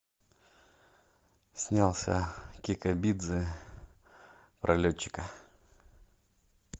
снялся кикабидзе про летчика